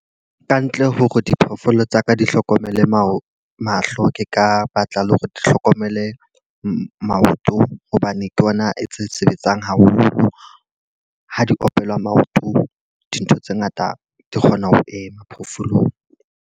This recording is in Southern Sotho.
Kantle hore diphoofolo tsaka di hlokomele mao mahlo, ke ka batla le hore di hlokomele maoto. Hobane ke ona e tse sebetsang haholo. Ha di opelwa maoto, dintho tse ngata di kgona ho ema phoofolong.